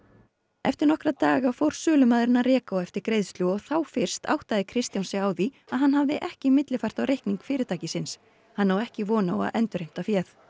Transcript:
eftir nokkra daga fór sölumaðurinn að reka á eftir greiðslu og þá fyrst áttaði Kristján sig á því að hann hafði ekki millifært á reikning fyrirtækisins hann á ekki von á að endurheimta féð